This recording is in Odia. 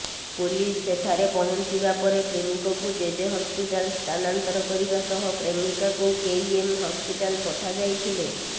ପୁଲିସ ସେଠାରେ ପହଞ୍ଚିବା ପରେ ପ୍ରେମିକକୁ ଜେଜେ ହସ୍ପିଟାଲ ସ୍ଥାନାନ୍ତର କରିବା ସହ ପ୍ରେମିକାକୁ କେଇଏମ୍ ହସ୍ପିଟାଲ ପଠାଯାଇଥିଲେ